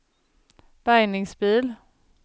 bärgningsbil